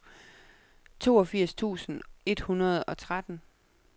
toogfirs tusind et hundrede og tretten